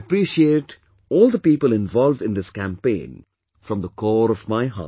I appreciate all the people involved in this campaign from the core of my heart